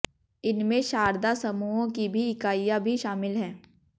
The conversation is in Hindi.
इनमें शारदा समूह की भी इकाइयां भी शामिल है